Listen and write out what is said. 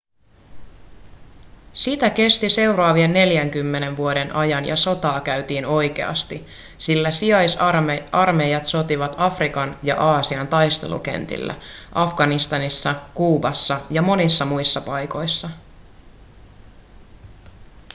sitä kesti seuraavien 40 vuoden ajan ja sotaa käytiin oikeasti sillä sijaisarmeijat sotivat afrikan ja aasian taistelukentillä afganistanissa kuubassa ja monissa muissa paikoissa